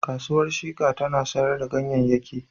Kasuwar Shika tana sayar da ganyeyake.